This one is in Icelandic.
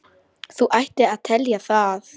Þú ættir að telja það.